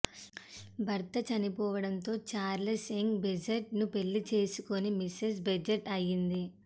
భర్త చనిపోవడంతో Charles Young Badgett ను పెళ్లి చేసుకుని మిసెస్ బేజెట్ అయింది